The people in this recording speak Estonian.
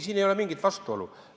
Siin ei ole mingit vastuolu.